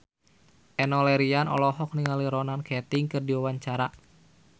Enno Lerian olohok ningali Ronan Keating keur diwawancara